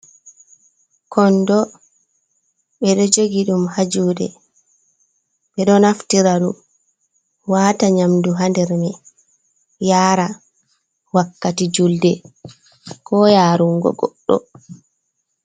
Kondo ɓeɗo jogi ɗum hajuɗe ɓe ɗo naftira ɗum, wata nyamdu hander mai, yara wakkati julde, ko yarun go goɗɗo.